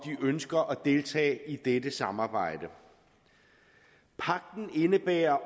ønsker at deltage i dette samarbejde pagten indebærer